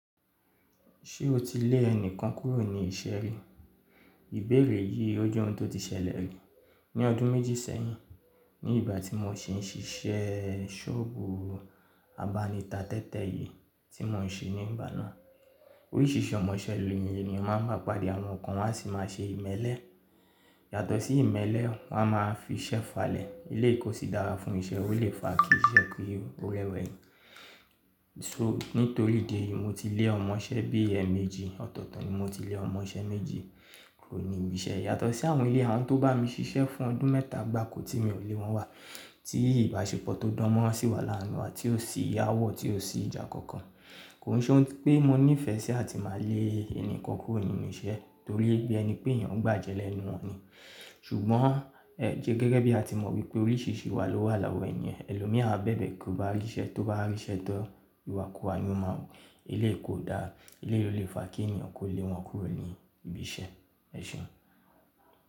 Ṣé o ti lé ẹnìkan kúrò ní iṣẹ́ rí? Ìbéèrè yìí ó jẹ́ ohun tó ti ṣẹlẹ̀ rí ní ọdún méjì sẹ́yìn ní ìgbà tí mo ṣi ń ṣiṣẹ́ ṣọ́ọ̀bù abánita tẹ́tẹ́ yìí tí mo ń ṣe ní ìgbà náà. Oríṣìíríṣìí ọmọṣẹ́ ni ẹni yẹn máa ń ba pàdé àwọn kan wọ́n á sì máa ṣe ìmẹ́lẹ́ yàtọ̀ sí ìmẹ́lẹ́ wọn a máa fi iṣẹ́ falẹ̀. Eléyìí kó sì dára fún iṣẹ́, ó lè fa kí iṣẹ́ pé ó rẹ wà yìí. So nítorí ìdí èyí mo ti lé ọmọṣẹ́ bí ẹ mẹ́jì ọ̀tọ̀ọ̀tọ̀ ni mo ti lé ọmọṣẹ́ méjì kúrò ní ibi iṣẹ́ yàtọ̀ sí àwọn eléyìí àwọn tó bá mi ṣiṣẹ́ fún ọdún mẹ́ta gbakò tí mi ò lé wọn wá. Tí ìbáṣepọ̀ tó dánmọ́rán sì wà láàárín wa tí ó sì yáwọ́ tí ó sì ìjà kankan. Kò n ṣe wípé mo nífẹ̀ẹ́ sí àti máa lé ẹnìkan kúrò nínú iṣẹ́ torí pé bí ẹni pé èèyàn gbàjẹ lẹ́nu wọn ni. Ṣùgbọ́n ẹ jẹ́ gẹ́gẹ́ bí a ti mọ̀ wípé oríṣìíríṣìí iwa ló wà lọ́wọ́ ẹni yẹn, ẹlòmíràn bẹ̀bẹ̀ kò bá ríṣẹ́ tó bá ríṣẹ́ tán ìwàkuwà wọn máa wù. Eléyìí kó dára, eléyìí na kí èèyàn kó lé wọn kúrò ní ibi iṣẹ́. Ẹ̀ṣọ́.